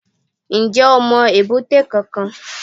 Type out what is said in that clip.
N jẹ́ o mo èbúté kankan